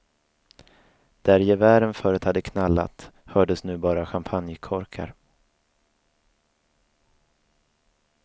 Där gevären förut hade knallat hördes nu bara champagnekorkar.